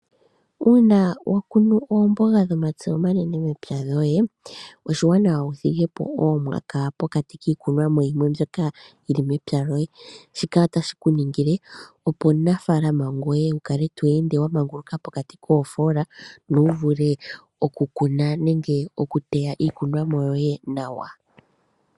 Uuna wa kunu oomboga dhomatse omanene mepya lyoye, oshiwanawa wu thigepo oomwaka pokati kiikunomwa yimwe mbyoka yili mepya lyoye. Shika otashi ku ningile opo omunafaalama ngoye wukale to ende wa manguluka pokati koofoola no wu vule oku kuna nenge okuteya iikunomwa yoye nawa.